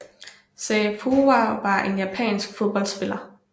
Sei Fuwa var en japansk fodboldspiller